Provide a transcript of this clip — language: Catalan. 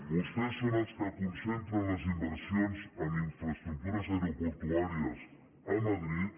vostès són els que concentren les inversions en infraestructures aeroportuàries a madrid